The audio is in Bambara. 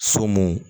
So mun